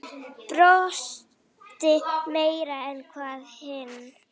Brosti meira en við hin.